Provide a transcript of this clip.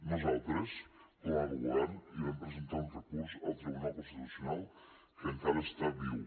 nosaltres com a govern hi vam presentar un recurs al tribunal constitucional que encara està viu